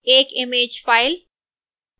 एक image file